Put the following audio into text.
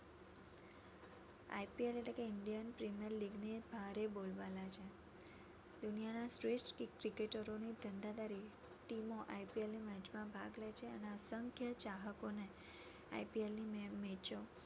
IPL એટ્લે કે Indian premier league ની ભારે બોલબાલા છે દુનિયાના શ્રેષ્ઠ cricketer ઓ team ઓ IPL ની match મા ભાગ લે છે અને અસંખ્ય ચાહકો ને IPL ની match ઓ